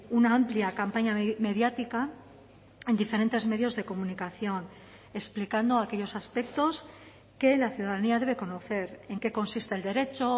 una amplia campaña mediática en diferentes medios de comunicación explicando aquellos aspectos que la ciudadanía debe conocer en qué consiste el derecho